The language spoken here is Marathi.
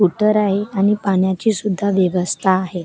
उत्तर आहे आणि पाण्याची सुद्धा व्यवस्था आहे.